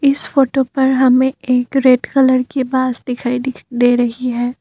इस फोटो पर हमें एक रेड कलर कि बस दिखाई दे दे रही है।